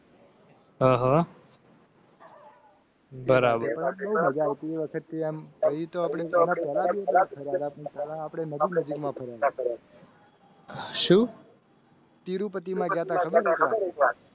હા હા. બરાબર હજારતી વખતે. શું? તિરુપતિ માતા કરો.